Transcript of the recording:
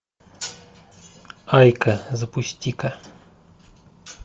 айка запусти ка